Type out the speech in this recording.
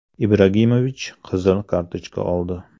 Ibragimovich qizil kartochka oldi.